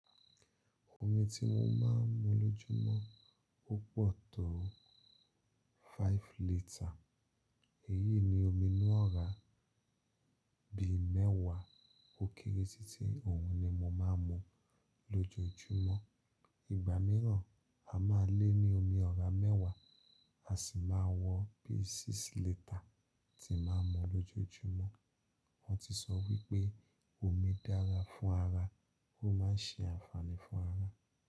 Omi ti mo máa ń mu lójúmọ́ o po tó five litre. Èyí ni omi inú ọra bi mẹ́wàá ó kéré títí òun ni mo máa ń mu lójoojúmọ́. Ìgbà mìíràn, a máa lé ní omi ọ̀rá mẹ́wàá, a sì máa wọ bíi six litre tí máa ń mu lójoojúmọ́. Wọ́n ti sọ wípé omi dára fún ara, ó máa ń ṣe àǹfààní fún ara.